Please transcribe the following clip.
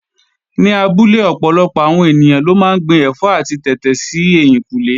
Ní abúlé ọ̀pọ̀lọpọ̀ àwọn ènìyàn ló máa ń gbin ẹ̀fọ́ àti tètè sí ẹ̀yìnkùnlé